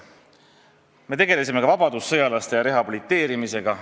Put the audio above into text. Me tegelesime ka vabadussõjalaste ja rehabiliteerimisega.